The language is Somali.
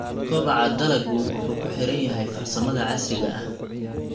Kobaca dalaggu wuxuu ku xiran yahay farsamada casriga ah.